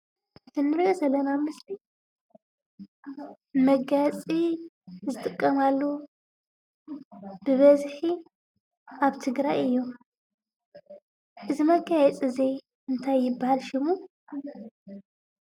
እቲ ንርኦ ዘለና ምስሊ መጋየፂ ዝጥቀማሉ ብበዝሒ ኣብ ትግራይ እዩ:: እዚ መጋየፂ እዚ እንታይ ይብሃል ሽሙ?